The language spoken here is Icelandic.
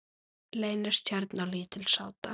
Leynist hérna lítil sáta.